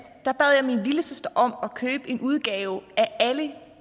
bad jeg min lillesøster om at købe en udgave af alle